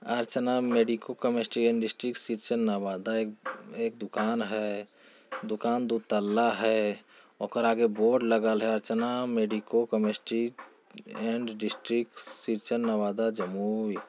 Archana medico chemist and district Shrichand Nawada एक एक दुकान है। दुकान दो तल्ला है। ओकरा आगे बोर्ड लगल है Archana medico chemistry and district Shrichand Nawada Jamui.